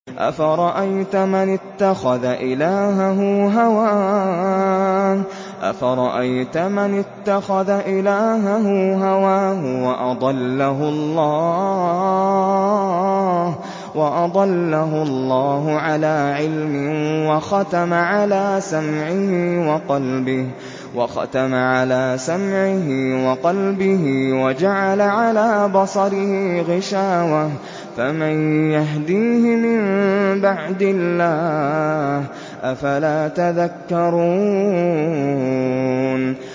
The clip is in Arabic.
أَفَرَأَيْتَ مَنِ اتَّخَذَ إِلَٰهَهُ هَوَاهُ وَأَضَلَّهُ اللَّهُ عَلَىٰ عِلْمٍ وَخَتَمَ عَلَىٰ سَمْعِهِ وَقَلْبِهِ وَجَعَلَ عَلَىٰ بَصَرِهِ غِشَاوَةً فَمَن يَهْدِيهِ مِن بَعْدِ اللَّهِ ۚ أَفَلَا تَذَكَّرُونَ